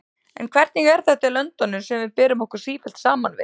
En hvernig er þetta í löndunum sem við berum okkur sífellt saman við?